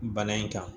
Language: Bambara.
Bana in kan